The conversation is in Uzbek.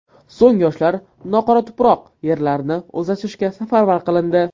So‘ng yoshlar noqoratuproq yerlarni o‘zlashtirishga safarbar qilindi.